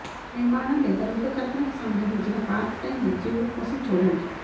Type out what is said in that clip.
నిర్మాణం లేదా రూపకల్పనకు సంబంధించిన పార్ట్ టైమ్ ఉద్యోగం కోసం చూడండి